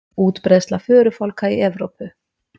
Útbreiðsla förufálka í Evrópu.